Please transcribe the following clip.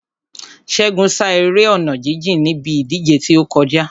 Ṣégun sá eré ọ̀nà jíjìn níbi ìdíje tí ó kọjá.